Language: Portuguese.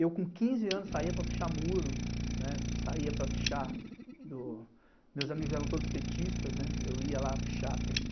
Eu com quinze anos saía para puxar Muro, saía para puxar, meus amigos eram todos petistas, eu ia lá puxar pêtê